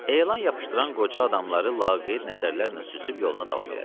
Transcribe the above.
Elan yapışdıran qoca adamları laqeyd nəzərlərlə süzüb yoluna davam elədi.